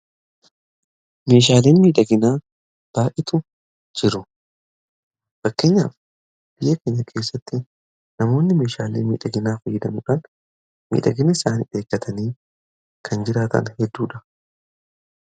Meeshaaleen miidhaginaa baay'eetu jiru. Fakkeenyaaf biyya keenya keessatti namoonni meeshaaleen miidhaginaa fayyadamuudhaan miidhagina isaanii eeggatanii kan jiraatan hedduudha.